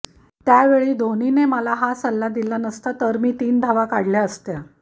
त्यावेळी धोनीने मला हा सल्ला दिला नसता तर मी तीन धावा काढल्या असत्या